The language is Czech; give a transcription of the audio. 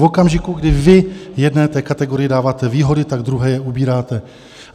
V okamžiku, kdy vy jedné té kategorii dáváte výhody, tak druhé je ubíráte.